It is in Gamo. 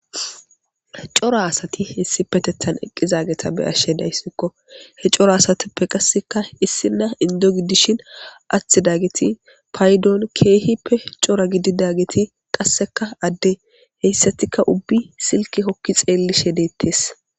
Cora asati issipetethan eqizageta be'ashe daysiko, he coracasatuppe qaseka issina Indo gidishn atidageti paydon keehippe cora gididdaget qaseka ade, heysatika aubbiy silke Holi xeelishe detes